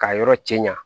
K'a yɔrɔ cɛ ɲa